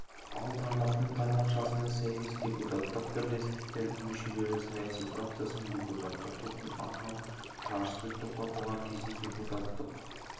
ал тармақтың тармақшасына сәйкес депутаттық бірлестіктердің мүшелері саяси фракциясының депутаттық топтың атынан жарыссөз тоқтатылған кезде депутаттық